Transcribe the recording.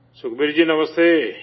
Sukhbir ji نمستے